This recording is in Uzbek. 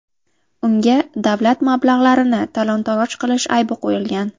Unga davlat mablag‘larini talon-taroj qilish aybi qo‘yilgan.